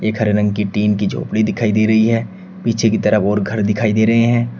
एक हरे रंग की टीन की झोपड़ी दिखाई दे रही है पीछे की तरफ और घर दिखाई दे रहे हैं।